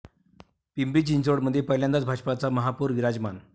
पिंपरी चिंचवडमध्ये पहिल्यांदाच भाजपचा महापौर विराजमान